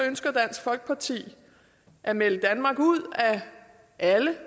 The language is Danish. ønsker dansk folkeparti at melde danmark ud af alle